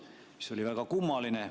See on väga kummaline.